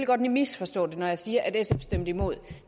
kan misforstå det når jeg siger at sf stemte imod